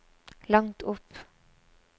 langt opp